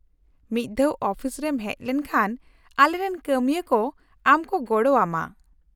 -ᱢᱤᱫ ᱫᱷᱟᱣ ᱚᱯᱷᱤᱥ ᱨᱮᱢ ᱦᱮᱡ ᱞᱮᱱᱠᱷᱟᱱ ᱟᱞᱮᱨᱮᱱ ᱠᱟᱹᱢᱤᱭᱟᱹ ᱠᱩ ᱟᱢ ᱠᱚ ᱜᱚᱲᱚᱣᱟᱢᱟ ᱾